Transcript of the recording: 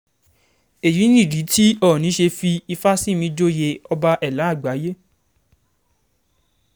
èyí nìdí tí òónì ṣe fi ìfásinmì joyè ọba ẹ̀là àgbáyé